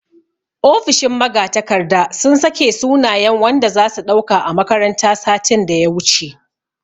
Ofishin magatakarda sun sake sunayen wanda zasu ɗauka a makaranta satin daya wuce